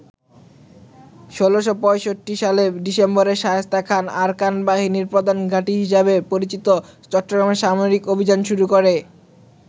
১৬৬৫ সালের ডিসেম্বরে শায়েস্তা খান আরাকান বাহিনীর প্রধান ঘাঁটি হিসেবে পরিচিত চট্টগ্রামে সামরিক অভিযান শুরু করে।